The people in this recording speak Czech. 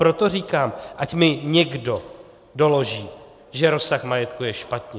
Proto říkám, ať mi někdo doloží, že rozsah majetku je špatně.